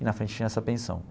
E na frente tinha essa pensão.